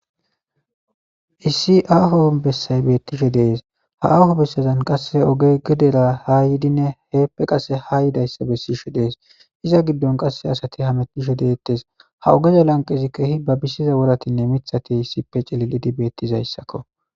Issi aho besay betishe dees ha aho besazan qase ogey gedera ha yidinne hepe qase ha yidaysa besishe de'es iza gidon qase asati hametishe de'etes ha ogezi lanqen kehi babisiza woratinne mithati issipe c'ililidi betizaysako.